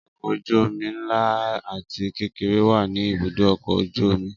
Ọkọ̀ ojú omi ńlá àti kékeré wá ní ibùdó ọkọ̀ ojú omi